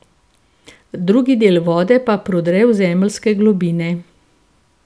Drugi del vode pa prodre v zemeljske globine.